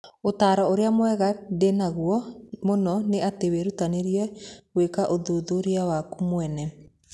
Ũtaaro ũrĩa mwega ndĩ naguo mũno nĩ atĩ wĩrutanĩrie gwĩka ũthuthuria waku mwene.